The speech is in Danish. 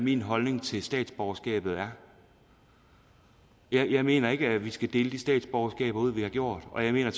min holdning til statsborgerskabet er jeg mener ikke at vi skal dele statsborgerskaber ud vi har gjort og jeg mener at